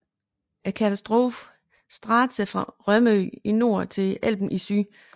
Katastrofen strakte sig fra Rømø i nord til Elben i syd